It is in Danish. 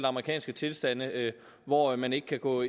amerikanske tilstande hvor man ikke kan gå